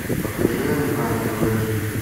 покажи на тв живи